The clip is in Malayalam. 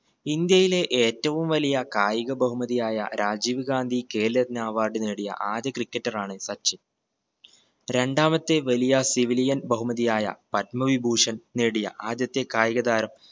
ഇന്ത്യയിലെ ഏറ്റവും വലിയ കായിക ബഹുമതിയായ രാജീവ് ഗാന്ധി ഖേൽരത്ന award നേടിയ ആദ്യ cricketer ആണ് സച്ചിൻ രണ്ടാമത്തെ വലിയ civilian ബഹുമതി ആയ പത്മ വിഭൂഷൺ നേടിയ ആദ്യത്തെ കായികതാരം